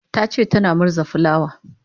tace tana murza fulawa